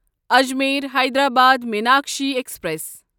Ajmer Hyderabad Meenakshi express